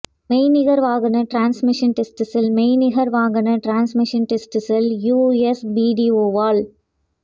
மெய்நிகர் வாகன transmission test cell மெய்நிகர் வாகன டிரான்ஸ்மிஷன் டெஸ்ட் செல் யுஎஸ்பிடிஓவால்